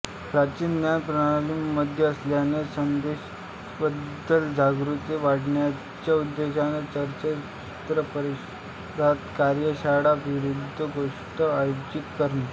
प्राचीन ज्ञान प्रणालींमध्ये असलेल्या संदेशांबद्दल जागरूकता वाढवण्याच्या उद्देशाने चर्चासत्रे परिषदा कार्यशाळा विद्वथ गोष्ठी आयोजित करणे